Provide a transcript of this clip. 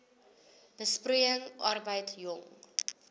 besproeiing arbeid jong